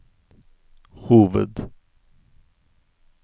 hoved